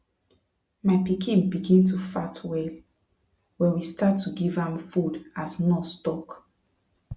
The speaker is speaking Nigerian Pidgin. my pikin begin to fat well when we start to give am food as nurse talk